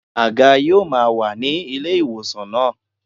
Àga yóò máa wà ní ilé ìwòsàn náà.